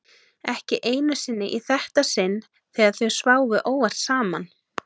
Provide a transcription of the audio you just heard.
Ekki einu sinni í þetta sinn þegar þau sváfu óvart saman.